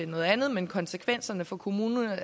noget andet men konsekvenserne for kommunerne er